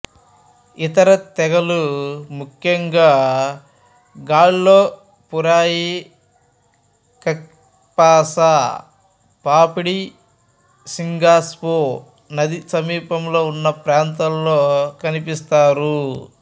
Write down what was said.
ఇతర తెగలు ముఖ్యంగా గాల్లో పురోయిక్పక్కేపాసాపాపుడిస్సింగ్పాసో నది సమీపంలో ఉన్న ప్రాంతాలలో కనిపిస్తారు